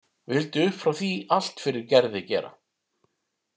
Vildi upp frá því allt fyrir Gerði gera.